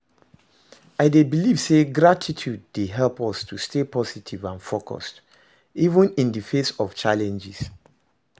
I dey believe say gratitude dey help us to stay positive and focused, even in di face of challenges.